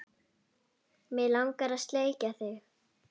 Mig langar að sleikja þig.